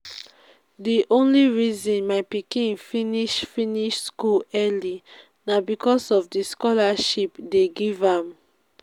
the only reason my pikin finish finish school early na because of the scholarship dey give am